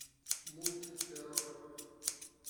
мульт террор